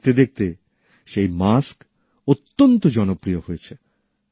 আর দেখতে দেখতে সেই মাস্ক অত্যন্ত জনপ্রিয় হয়েছে